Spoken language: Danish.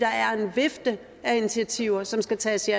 vifte af initiativer som skal sættes i